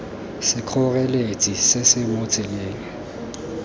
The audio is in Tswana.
sekgoreletsi se se mo tseleng